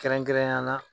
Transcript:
Kɛrɛnkɛrɛnnenya la